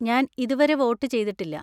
ഞാൻ ഇതുവരെ വോട്ട് ചെയ്തിട്ടില്ല.